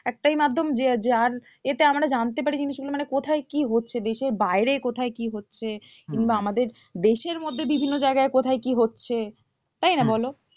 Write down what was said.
একটাই মাধ্যম যে যার এতে আমরা জানতে পারি জিনিস মানে কোথায় কি হচ্ছে দেশের বাইরে কোথায় কি হচ্ছে কিংবা আমাদের দেশের মধ্যে বিভিন্ন জায়গায় কোথায় কি হচ্ছে তাই না বলো?